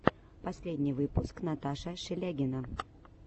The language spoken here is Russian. последний выпуск наташа шелягина